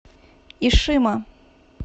ишима